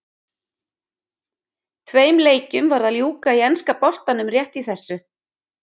Tveim leikjum var að ljúka í enska boltanum rétt í þessu.